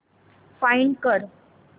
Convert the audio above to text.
find कर